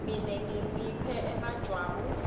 mine ningiphe emajwabu